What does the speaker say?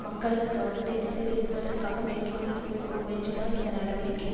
மக்களது கவனத்தை திசைதிருப்புவதற்காக மேற்கொண்டிருக்கும் ஒரு முயற்சிதான் இந்த நடவடிக்கை